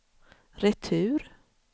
retur